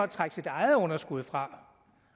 trække sit eget underskud fra